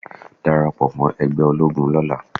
Darapọ̀ mọ́ ẹgbẹ́ ológun lọ́la.